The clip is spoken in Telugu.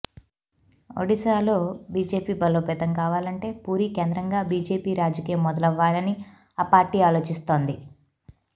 ఒడిశాలో బీజేపీ బలోపేతం కావాలంటే పూరీ కేంద్రంగా బీజేపీ రాజకీయం మొదలవ్వాలని ఆ పార్టీ ఆలోచిస్తోంది